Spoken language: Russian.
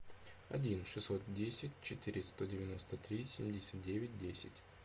один шестьсот десять четыре сто девяносто три семьдесят девять десять